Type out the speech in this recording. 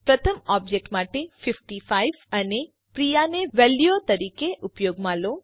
પ્રથમ ઓબજેક્ટ માટે ૫૫ અને પ્રિયા ને વેલ્યુઓ તરીકે ઉપયોગમાં લો